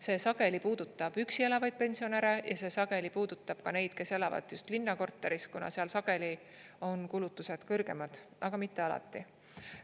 See sageli puudutab üksi elavaid pensionäre ja see sageli puudutab ka neid, kes elavad just linnakorteris, kuna seal sageli on kulutused kõrgemad, aga mitte alati.